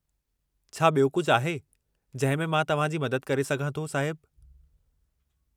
छा बि॒यो कुझु आहे जंहिं में मां तव्हां जी मदद करे सघां थो, साहिब?